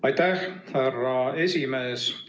Aitäh, härra esimees!